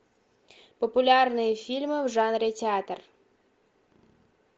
популярные фильмы в жанре театр